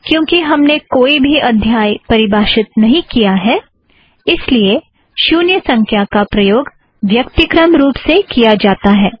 क्योंकि हमने कोई भी अध्याय परिभाषित नहीं किया है इस लिए शुन्य संख्या का प्रयोग व्यक्तिक्रम रुप से किया जाता है